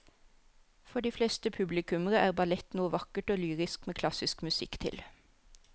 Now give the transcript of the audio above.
For de fleste publikummere er ballett noe vakkert og lyrisk med klassisk musikk til.